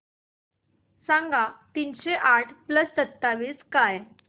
सांगा तीनशे आठ प्लस सत्तावीस काय